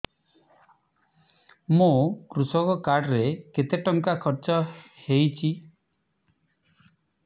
ମୋ କୃଷକ କାର୍ଡ ରେ କେତେ ଟଙ୍କା ଖର୍ଚ୍ଚ ହେଇଚି